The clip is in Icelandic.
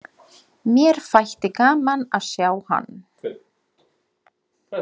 Mér þætti gaman að sjá hann.